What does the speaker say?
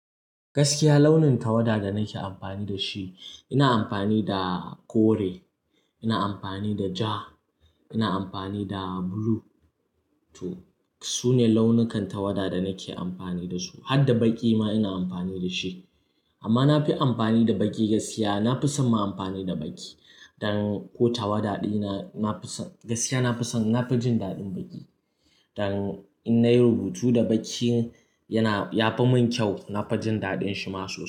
Gaskiya launin tawada da nake amfani da shi, ina amfani da kore, ina amfani da ja, ina amfani da blue to. Su ne launukan tawada da nake amfani da su. Harda baƙi ma ina amfani da shi. Amma na fi amfani da baƙi gaskiya, na fi son ma amfani da baƙi. Don ko tawada ɗina-- na fi son gaskiya na fi son, na fi jin daɗin baƙi. Don in nayi rubutu da baƙi yana, ya fi mun kyau, na fi jin daɗin shi ma sosai.